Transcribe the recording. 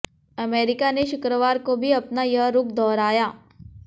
America ने शुक्रवार को भी अपना यह रुख दोहराया